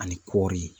Ani kɔɔri